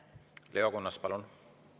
Leo Kunnas, palun!